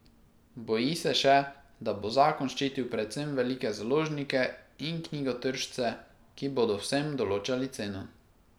Boji se še, da bo zakon ščitil predvsem velike založnike in knjigotržce, ki bodo vsem določali ceno.